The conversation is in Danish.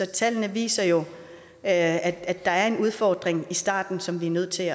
tallene viser jo at der er en udfordring i starten som vi er nødt til